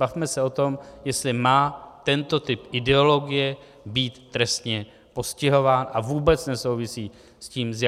Bavme se o tom, jestli má tento typ ideologie být trestně postihován, a vůbec nesouvisí s tím, z